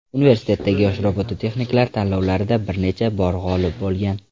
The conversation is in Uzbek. Universitetdagi yosh robototexniklar tanlovlarida bir necha bor g‘olib bo‘lgan.